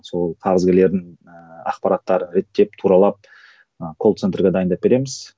сол қарызгерлердің ыыы ақпараттарын реттеп туралап ы колл центрге дайындап береміз